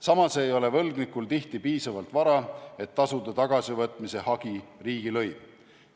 Samas ei ole võlgnikul tihti piisavalt vara, et tasuda tagasivõtmise hagi riigilõiv.